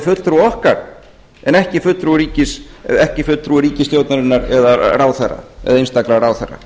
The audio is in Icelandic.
fulltrúi okkar en ekki fulltrúi ríkisstjórnarinnar eða einstakra ráðherra